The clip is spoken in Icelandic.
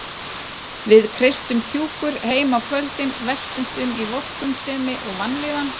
Við kreistum kjúkur heima á kvöldin, veltumst um í vorkunnsemi og vanlíðan.